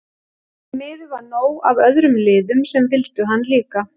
Því miður var nóg af öðrum liðum sem vildu hann líka.